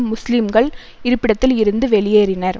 முஸ்லிம்கள் இருப்பிடத்தில் இருந்து வெளியேறினர்